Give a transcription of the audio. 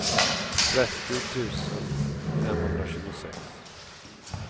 trettio tusen femhundratjugosex